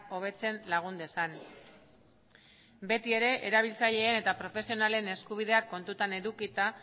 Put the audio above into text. hobetzen lagun dezan beti ere erabiltzaileen eta profesionalen eskubideak kontutan edukita